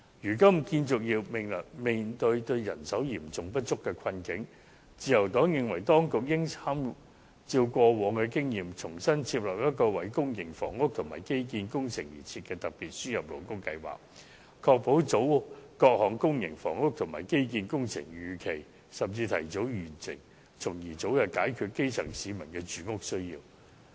如今建造業面對人手嚴重不足的困境，自由黨認為當局應參照以往的經驗，重新訂定一項為公營房屋及基建工程而設的特別輸入勞工計劃，確保各項公營房屋和基建工程能夠如期甚至提早完成，從而早日解決基層市民的住屋需要。